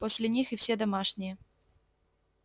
после них и все домашние